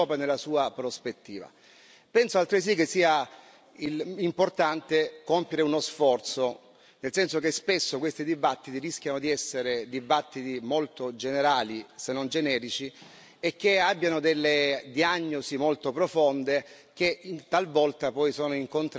Penso altresì che sia importante compiere uno sforzo, nel senso che spesso questi dibattiti rischiano di essere dibattiti molto generali, se non generici, e che abbiano delle diagnosi molto profonde, che talvolta poi sono in contrasto con la realtà che viviamo.